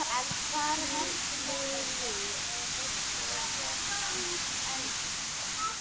Lillý: Er eitthvað sérstakt þar?